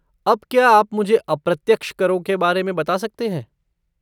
अब क्या आप मुझे अप्रत्यक्ष करों के बारे में बता सकते हैं?